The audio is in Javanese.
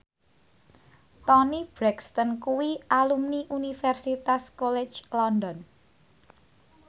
Toni Brexton kuwi alumni Universitas College London